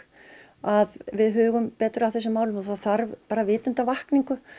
að við hugum betur að þessum málum og það þarf vitundarvakningu